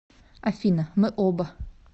афина мы оба